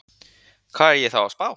Hvað er ég þá að spá?